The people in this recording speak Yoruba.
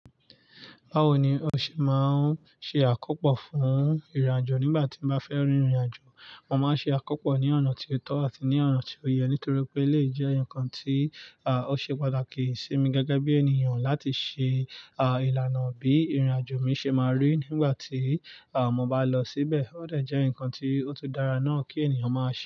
Báwo ni o ṣe máa ń ṣe àkópọ̀ fún ìrìnàjò nígbà tí o bá fẹ́ rin ìrìnàjò? Mo máa ń ṣe àkópọ̀ ní ona ti ó tó àti ní ona ti ó yẹ nítorí pé eleyii jẹ́ nǹkan tí, à, ó ṣe pàtàkì sí mi gẹ́gẹ́ bí ènìyàn láti ṣe, à, ìlànà bí ìrìnàjò mi ṣe máa rí nígbà tí, à, mo bá lọ síbẹ̀. Ó dẹ̀ jẹ́ nǹkan tí ó tún dára náà kí ènìyàn máa ṣe.